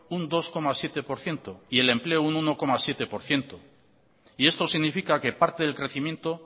un dos coma siete por ciento y el empleo un uno coma siete por ciento y esto significa que parte del crecimiento